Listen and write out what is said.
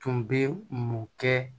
Tun bɛ mun kɛ